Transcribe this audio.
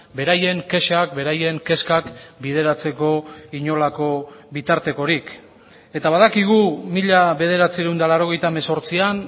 beraien kexak beraien kezkak bideratzeko inolako bitartekorik eta badakigu mila bederatziehun eta laurogeita hemezortzian